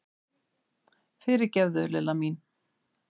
Fyrirgefðu, Lilla mín!